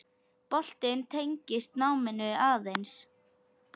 Boltinn tengist náminu aðeins.